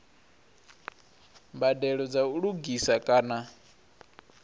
mbadelo dza u lugisa kana